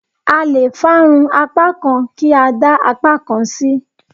A lè fárun apá kan kí a dá apá kan sí.